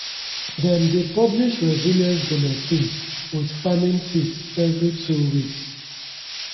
dem dey publish resilience bulletin wit farming tips every two weeks.